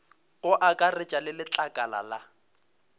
go akaretša le letlakala la